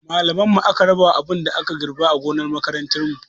Malaman mu aka rabawa abin da aka girɓa a gonar makarantar mu